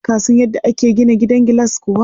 Ka san yadda ake gina gidan gilas kuwa?